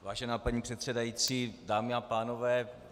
Vážená paní předsedající, dámy a pánové.